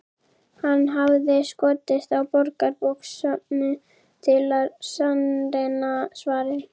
Hann hafði skotist á Borgarbókasafnið til að sannreyna svarið.